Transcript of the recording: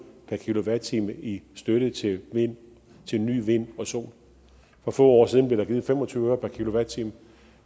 per kilowatt time i støtte til ny til ny vind og sol for få år siden blev der givet fem og tyve øre per kilowatt time